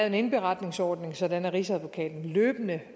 en indberetningsordning sådan at rigsadvokaten løbende